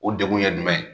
O degun ye jumɛn ye